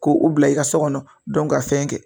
Ko u bila i ka so kɔnɔ ka fɛn kɛ